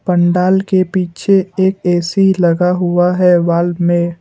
पंडाल के पीछे एक ए_सी लगा हुआ है वॉल में।